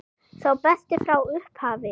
Sá besti frá upphafi?